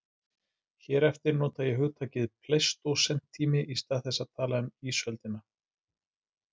Hér eftir nota ég hugtakið pleistósentími í stað þess að tala um ísöldina.